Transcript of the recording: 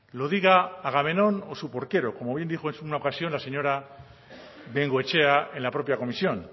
lo diga agamenón o su porquero como bien dijo en una ocasión la señora bengoechea en la propia comisión